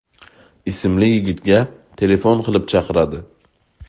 ismli yigitga telefon qilib chaqiradi.